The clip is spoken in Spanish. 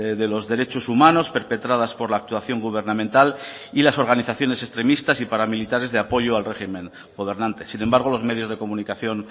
de los derechos humanos perpetradas por la actuación gubernamental y las organizaciones extremistas y paramilitares de apoyo al régimen gobernante sin embargo los medios de comunicación